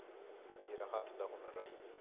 ਯਰ ਹੱਥ ਦਾ ਹੁਨਰ ਹੋਏ